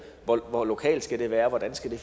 hvor hvor lokalt skal det være hvordan skal